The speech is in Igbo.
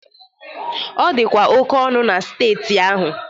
Ọ dịkwa oke ọnụ na steeti ahụ